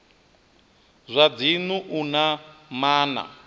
zwa dzinnu u na maana